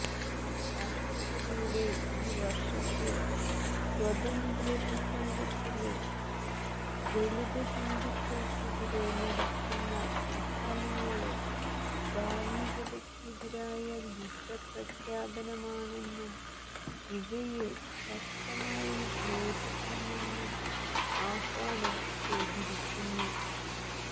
രാഷ്ട്രപതിയുടെ ഈ വര്ഷത്തെ സ്വാതന്ത്ര്യ പ്രസംഗത്തില് ദളിതഹിന്ദുക്കള്ക്കെതിരെ നടക്കുന്ന അക്രമങ്ങള് ധാര്മികതക്കെതിരായ യുദ്ധപ്രഖ്യാപനമാണെന്നും ഇവയെ ശക്തമായി നേരിടണമെന്നും ആഹ്വാനം ചെയ്തിരിക്കുന്നു